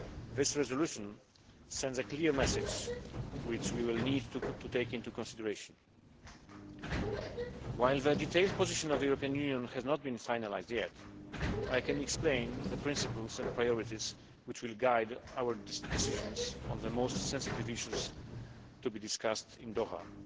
This resolution sends a clear message which we will need to take into consideration. While the detailed position of the European Union has not been finalised yet, I can explain the principles and priorities which will guide our decisions on the most sensitive issues to be discussed in Doha.